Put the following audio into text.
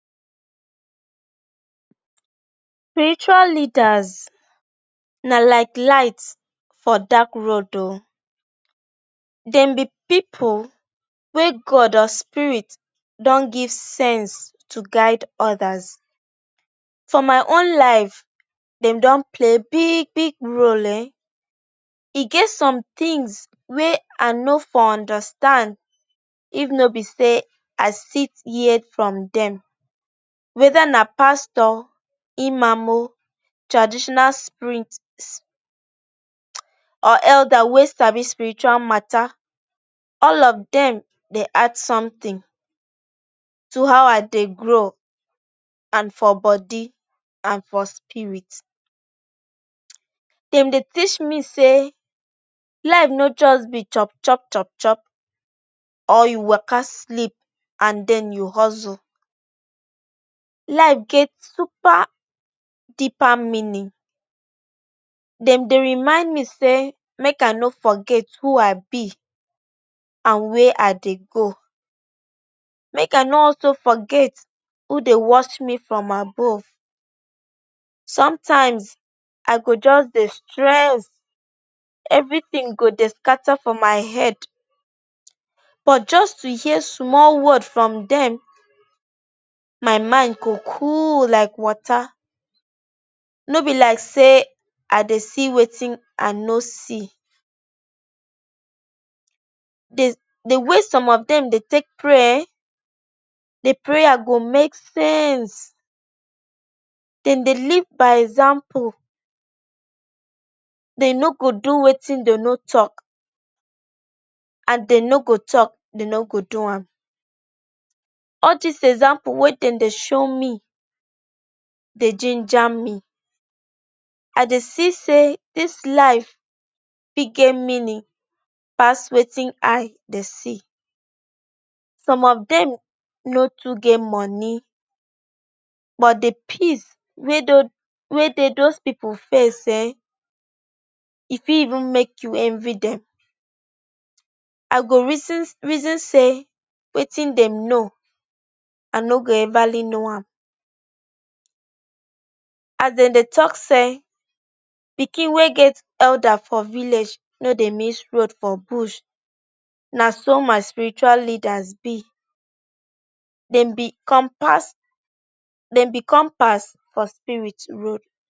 Spiritual leaders na like light for dark road o. Dem be pipu wey god or spirit don give sense to guide others. For my own life, dem don play big role eehn. E get some tins wey i no for understand if no be say i sit hear from dem. Weda na pastor, Imam, traditional spirits or elder wey sabi spiritual matta, all of dem dey add somtin to how i dey grow and for body and for spirit. Dem dey teach me say life no just be chop chop chop chop, or you waaka, sleep and den you hustle. Life get super deeper meaning. Dem dey remind me say make i no forget who i be and wia i dey go. Make i no also forget who dey watch me from above. Somtime i go just dey stress, evritin go dey scatter for my head. But just to hear small word from dem, my mind go cool like water. No be like say i dey see wetin i no see. Di way some of dem dey take pray eehn, di prayer go make sense. Dem dey live by example. Dey no go do wetin dem no tok and dem no go tok dey no go do am. All dis example wey dem dey show me, dey jinja me. I dey see say dis life fit get meaning pass wetin eye dey see. Some of dem no too get money but di peace wey dey dose dose pipu face eehn, e fit even make you envy dem. I go reason reason say wetin dem know, i no go everly know am. As dem dey tok say pikin wey get elder for village no dey miss road for bush, na so my spiritual leaders be. Dem be compass. Dem be compass for spirit road.